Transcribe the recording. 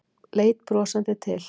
Leit brosandi til